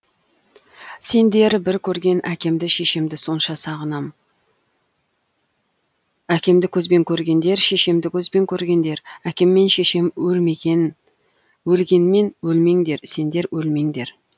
сендер бір көрген әкемді шешемді сонша сағынам әкемді көзбен көргендер шешемді көзбен көргендер әкем мен шешем өлмеген өлгенмен өлмеңдер сендер өлмеңдер